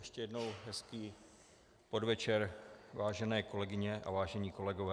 Ještě jednou hezký podvečer, vážené kolegyně a vážení kolegové.